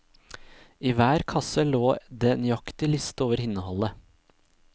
I hver kasse lå det nøyaktig liste over innholdet.